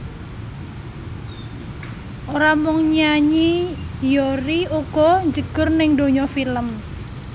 Ora mung nyanyi Hyori uga njegur ning donya film